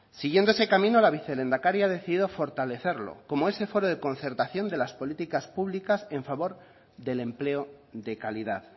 siguiendo ese camino la vicelehendakari ha decidido fortalecerlo como ese foro de concertación de las políticas públicas en favor del empleo de calidad